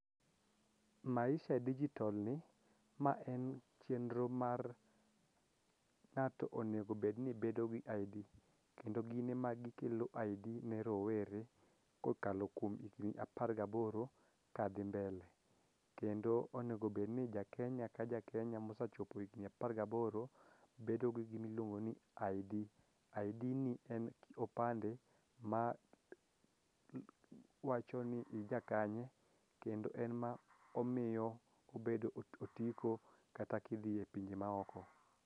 Maisha digital ni ma en chenro mar ng'ato onego bedni bedo gi ID kendo gin ema gikelo ID ne rowere kokalo kuom higni apar gaboro kadhi mbele kendo onegobedni jakenya ka jakenya mosachopo higni apar gaboro bedo gi gimiluongo ni ID, ID ni en opande ma wacho ni ijakanye kendo en ma omiyo obedo otiko kata kidhi e pinje maoko.